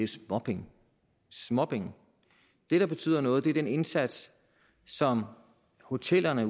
småpenge småpenge det der betyder noget er den indsats som hotellerne